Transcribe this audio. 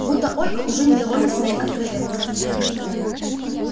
будто ольга уже недовольна своей откровенностью